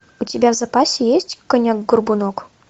у тебя в запасе есть конек горбунок